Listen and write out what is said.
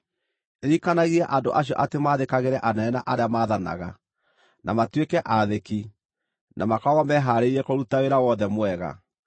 Ririkanagia andũ acio atĩ maathĩkagĩre anene na arĩa maathanaga, na matuĩke aathĩki, na makoragwo mehaarĩirie kũruta wĩra wothe mwega,